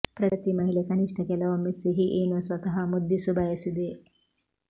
ಪ್ರತಿ ಮಹಿಳೆ ಕನಿಷ್ಠ ಕೆಲವೊಮ್ಮೆ ಸಿಹಿ ಏನೋ ಸ್ವತಃ ಮುದ್ದಿಸು ಬಯಸಿದೆ